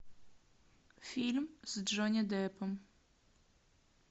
фильм с джонни деппом